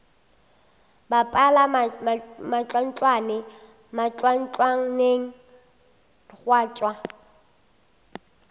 bapala mantlwantlwane mantlwantlwaneng gwa tšwa